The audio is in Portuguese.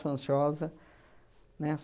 Sou ansiosa, né?